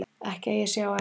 Ekki að ég sjái eftir því